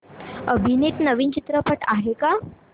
अभिनीत नवीन चित्रपट आहे का